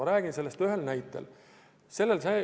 Ma räägin sellest ühe näite toel.